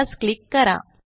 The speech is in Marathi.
यास क्लिक करा